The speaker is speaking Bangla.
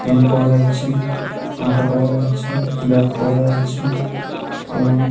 পেন পাওয়া যাচ্ছে আটা পাওয়া যাচ্ছে ব্যাগ পাওয়া যাচ্ছে এবং--